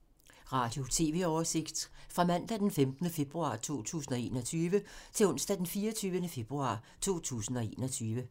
Radio/TV oversigt fra mandag d. 15. februar 2021 til onsdag d. 24. februar 2021